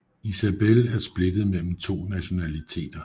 Isabel er splittet mellem to nationaliteter